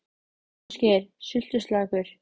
Ásgeir: Sultuslakur?